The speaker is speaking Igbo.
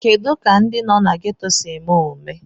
Kedu ka ndị nọ na gétò si eme omume